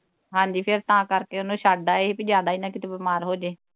ਹਾਂਜੀ ਫਿਰ ਤਾਂ ਕਰਕੇ ਉਹਨੂੰ ਛੱਡ ਆਈ ਕਿ ਜਿਆਦਾ ਈ ਨਾ ਕਿਤੇ ਬਿਮਾਰ ਹੋ ਜੇ